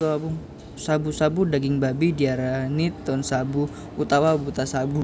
Shabu shabu daging babi diarani Tonshabu utawa Butashabu